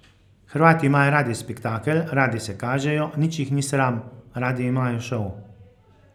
Hrvati imajo radi spektakel, radi se kažejo, nič jih ni sram, radi imajo šov.